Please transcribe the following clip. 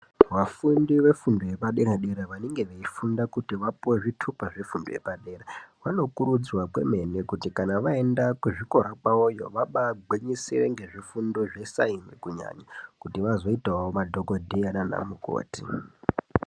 Vafundi vefundo yepaderadera vanenge veifunda kuti vapuwe zvitupa zvefundo yepadera vanokurudzirwa kwemene kuti kana vaenda kuzvikora kwawoyo vabaagwinyisire ngezvifundo zvesayenzi kunyanya kuti vazoitewo madhokodheya nanamukoti.